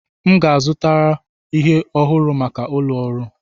M ga-azụta ihe ọhụrụ maka ụlọ ọrụ.